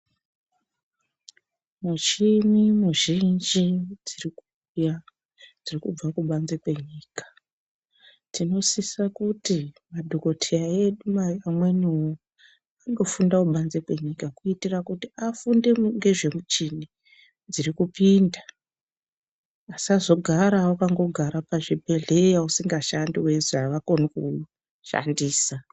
Mushini muzhinji dziri kuuya dziri kubva kubanze kwenyika. Tinosisa kuti madhokoteya edu amweniwo andofunda kubanze kwenyika kuitira kuti afunde ngezvemuchini dziri kupinda. Asazogara wakangogara pazvibhedhleya usingashandi weizi havakoni kuushandisa.